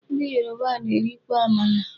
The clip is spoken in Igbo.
Ndị Yoruba na-erikwa amala.